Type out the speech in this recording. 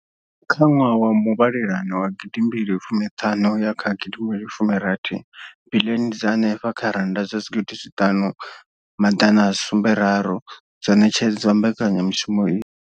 Kha ṅwaha wa muvhalelano wa gidimbili fumu ṱhanu ya kha gidi mbili fumi rathi, biḽioni dza henefha kha rannda dza zwigidi zwiṱanu maḓana a sumbe raru dzo ṋetshedzwa mbekanyamushumo iyi.